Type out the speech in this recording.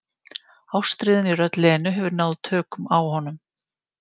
Ástríðan í rödd Lenu hefur náð tökum á honum.